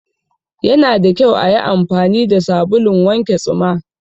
Yana da kyau ayi anfani fa sabulun wanke tsuma